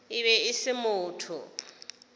e be e se motho